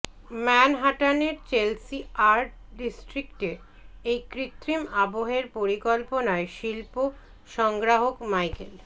ম্যানহাটানের Chelsea art ডিস্ট্রিক্টে এই কৃত্রিম আবহের পরিকল্পনায় শিল্প সংগ্রাহক মাইকেল